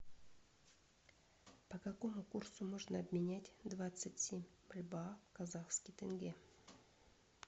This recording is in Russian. по какому курсу можно обменять двадцать семь бальбоа в казахский тенге